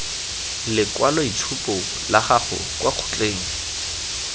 lekwaloitshupo la gago kwa kgotleng